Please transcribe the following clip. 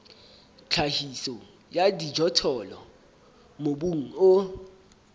tlhahiso ya dijothollo mobung o